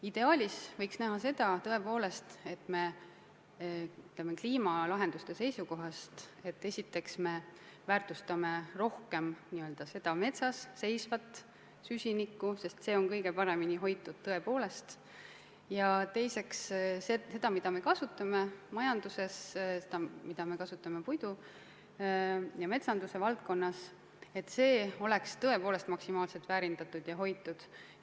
Ideaalis võiks olla nii, et kliimalahendusi silmas pidades me esiteks väärtustame rohkem metsas seisvat süsinikku, sest see on kõige paremini hoitud, ja teiseks võiks olla, et ressurss, mida me kasutame majanduses, mida me kasutame puiduna ja üldse metsanduse valdkonnas, oleks tõepoolest maksimaalselt väärindatud ja hoitud.